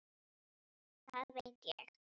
Það veit ég.